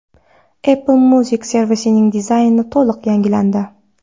Apple Music servisining dizayni to‘liq yangilandi.